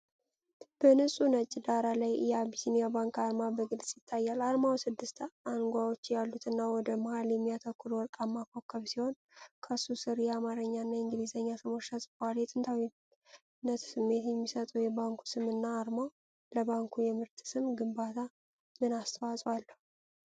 በንጹህ ነጭ ዳራ ላይ የአቢሲንያ ባንክ አርማ በግልጽ ይታያል። አርማው ስድስት አንጓዎች ያሉትና ወደ መሃል የሚያተኩር ወርቃማ ኮከብ ሲሆን፤ ከሱ ስር የአማርኛና የእንግሊዝኛ ስሞች ተጽፈዋል። የጥንታዊነት ስሜት የሚሰጠው የባንኩ ስምና አርማው ለባንኩ የምርት ስም ግንባታ ምን አስተዋፅዖ አለው?